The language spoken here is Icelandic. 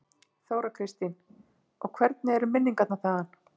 Þóra Kristín: Og hvernig eru minningarnar þaðan?